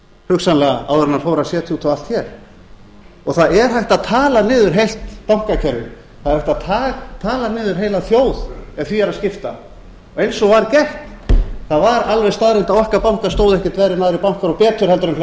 hugsanlega áður en hann fór að setja út á allt hér og það er hægt að tala niður heilt bankakerfi það er hægt að tala niður heila þjóð ef því er að skipta eins og var gert það var alveg staðreynd að okkar bankar stóðu ekkert verr en aðrir bankar og betur